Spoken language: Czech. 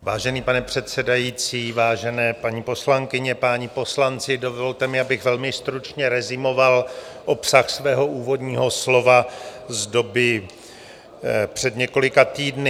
Vážený pane předsedající, vážené paní poslankyně, páni poslanci, dovolte mi, abych velmi stručně rezumoval obsah svého úvodního slova z doby před několika týdny.